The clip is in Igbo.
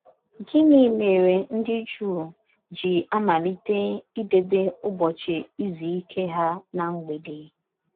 Gịnị mere ndị Juu ji amalite idebe Ụbọchị Izu Ike ha ná mgbede?